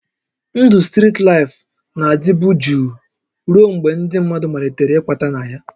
Ndụ strit laịfụ na-adịbu jụụ ruo mgbe ndị mmadụ malitere ịkwata na ya